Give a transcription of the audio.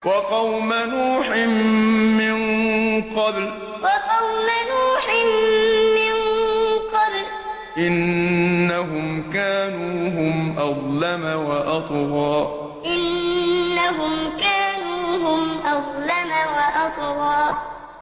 وَقَوْمَ نُوحٍ مِّن قَبْلُ ۖ إِنَّهُمْ كَانُوا هُمْ أَظْلَمَ وَأَطْغَىٰ وَقَوْمَ نُوحٍ مِّن قَبْلُ ۖ إِنَّهُمْ كَانُوا هُمْ أَظْلَمَ وَأَطْغَىٰ